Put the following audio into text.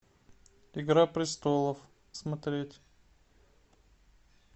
игра престолов смотреть